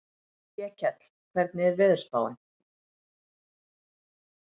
Vékell, hvernig er veðurspáin?